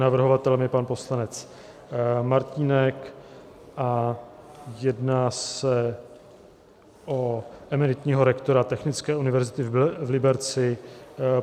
Navrhovatelem je pan poslanec Martínek a jedná se o emeritního rektora Technické univerzity v Liberci.